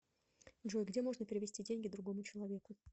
джой где можно перевести деньги другому человеку